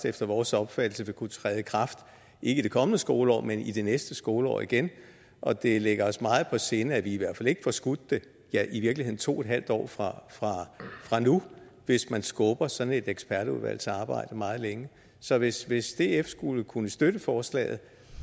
efter vores opfattelse kunne træde i kraft ikke i det kommende skoleår men i det næste skoleår igen og det ligger os meget på sinde at vi i hvert fald ikke får skudt det ja i virkeligheden to en halv år fra nu hvis man skubber sådan et ekspertudvalgs arbejde meget længe så hvis hvis df skulle kunne støtte forslaget